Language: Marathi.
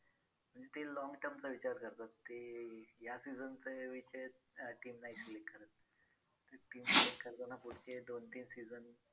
म्हणजे ते long term चा विचार करतात ते या season team नाही select करत ते team select करताना पुढचे दोन तीन season